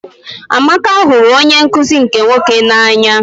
Amaka hụrụ onye nkụzi nke nwoke n'anya.